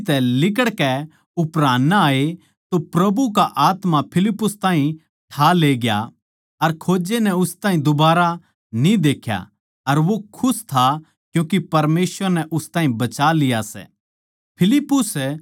जिब वे पाणी म्ह तै लिकड़कै ऊपरान आये तो प्रभु का आत्मा फिलिप्पुस ताहीं ठा लेग्या अर खोजे नै उस ताहीं दुबारा न्ही देख्या अर वो खुश था क्यूँके परमेसवर नै उस ताहीं बचा लिया सै